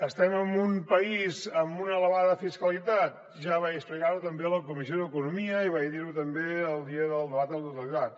estem en un país amb una elevada fiscalitat ja vaig explicar ho també a la comissió d’economia i vaig dir ho també el dia del debat de totalitat